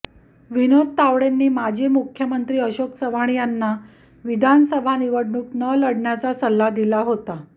विनोद तावडेंनी माजी मुख्यमंत्री अशोक चव्हाण यांना विधानसभा निवडणूक न लढण्याचा सल्ला दिला होता